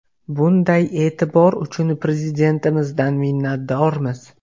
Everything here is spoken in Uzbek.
Bunday e’tibor uchun Prezidentimizdan minnatdormiz.